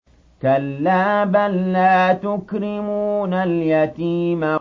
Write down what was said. كَلَّا ۖ بَل لَّا تُكْرِمُونَ الْيَتِيمَ